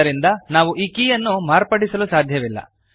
ಆದ್ದರಿಂದ ನಾವು ಈ ಕೀಯನ್ನು ಮಾರ್ಪಡಿಸಲು ಸಾಧ್ಯವಿಲ್ಲ